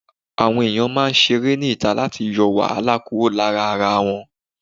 Àwọn ẹ̀yàn máa ń ṣeré ní ìta láti yọ wàhálà kúrò lára ara wọn.